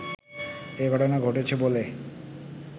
এই ঘটনা ঘটেছে বলে